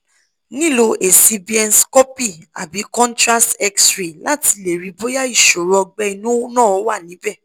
nilo esi bienscopy abi contrast x-ray lati le ri boya isoro ogbe inu na wa nibe